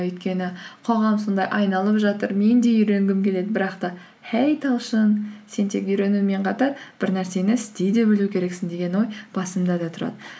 өйкені қоғам сонда айналып жатыр мен де үйренгім келеді бірақ та хей талшын сен тек үйренумен қатар бір нәрсені істей де білу керексің деген ой басымда да тұрады